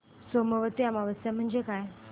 सोमवती अमावस्या म्हणजे काय